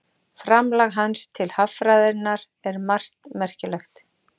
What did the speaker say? Framlag hans til haffræðinnar er um margt merkilegt.